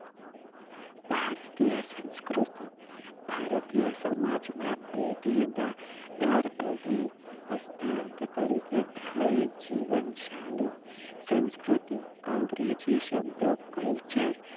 ભારતીય સંસ્કૃતિ ભારતીય સમાજ માં પેઢી દર પેઢી હસ્તાન તરીકે થઈ જીવનશાલી સંસ્કૃતિ અંગ્રેજી શબ્દ કલ્ચર